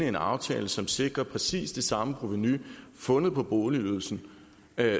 en aftale som sikrer præcis det samme provenu fundet på boligydelsen